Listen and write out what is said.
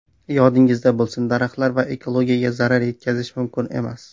Yodingizda bo‘lsin daraxtlar va ekologiyaga zarar yetkazish mumkin emas.